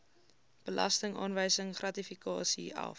belastingaanwysing gratifikasie af